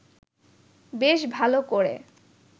বেশ ভাল ক’রে